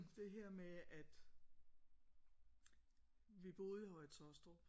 Det her med at vi boede i Høje Taastrup